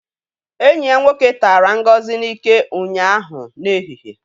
Enyi ya nwoke tara Ngozi n'ike ụnyaahụ n'ehihie